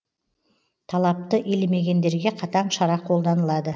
талапты елемегендерге қатаң шара қолданылады